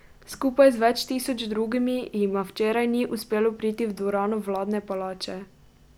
Skupaj z več tisoč drugimi jima včeraj ni uspelo priti v dvorano vladne palače.